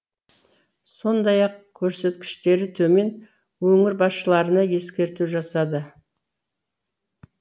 сондай ақ көрсеткіштері төмен өңір басшыларына ескерту жасады